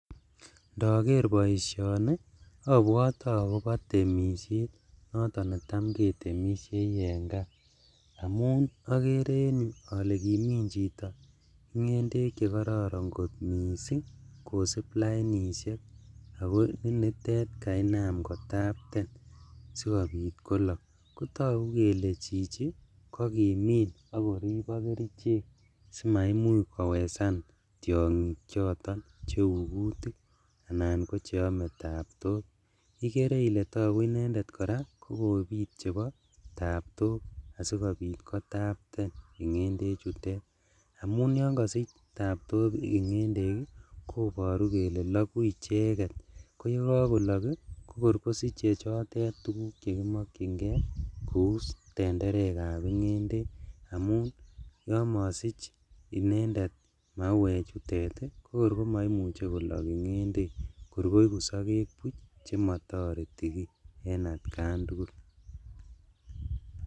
Indoker boisioni obwote akobo temishet noton netam ketemishei en kaa, amun okere en tu ole kimin chito ingendek chekoron missing' kosib lainishek ako ninitet kainam kotapten, togu kele chichi kokimin ok korib ok kerichek sima imuch simaimuch kowesan tiongik choton cheu kutik anan kocheome toptok, ikere ile inenderlt koraa kokobit kotyok asikobit kotapte ingendechutet amun yon kosich taptok ingendek ii koboru kele loguk icheket koyekokolok ii kokor kosiche chotet chekimokchingee kou tenderekab ingendek amun yon mosich inendet mauechutet ii kokor komoumuche komong ingendek kor koigu sokek buch chemotoreti kii en atjan tugul.